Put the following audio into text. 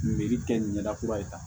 kɛ nin ɲɛda kura ye tan